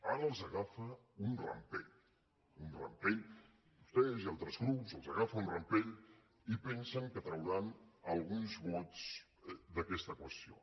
ara els agafa un rampell un rampell a vostès i altres grups els agafa un rampell i pensen que trauran alguns vots d’aquesta qüestió